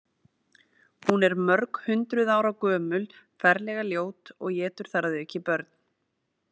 Hún er mörghundruð ára gömul, ferlega ljót og étur þar að auki börn.